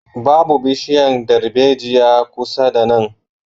Babu bishiyan darbejiya kusa da nan